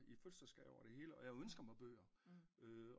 I fødselsgave og det hele og jeg ønsker mig bøger